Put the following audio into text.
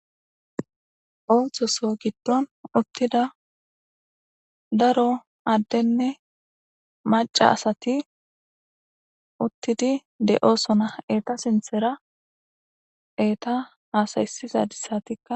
Onthoso giddon uttida daro addenne maca asati uttidi de'oosona eta sinthera eta aasaysizadissatikka.